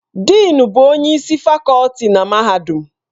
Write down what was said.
Dịịn bụ onye isi fakọlti na mahadum.